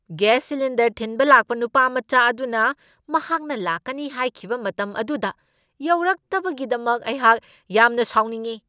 Gas cylinder ꯊꯤꯟꯕ ꯂꯥꯛꯄ ꯅꯨꯄꯥ ꯃꯆꯥ ꯑꯗꯨꯅ ꯃꯍꯥꯛꯅ ꯂꯥꯛꯀꯅꯤ ꯍꯥꯏꯈꯤꯕ ꯃꯇꯝ ꯑꯗꯨꯗ ꯌꯧꯔꯛꯇꯕꯒꯤꯗꯃꯛ ꯑꯩꯍꯥꯛ ꯌꯥꯝꯅ ꯁꯥꯎꯅꯤꯡꯢ ꯫